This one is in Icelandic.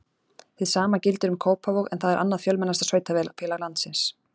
hið sama gildir um kópavog en það er annað fjölmennasta sveitarfélag landsins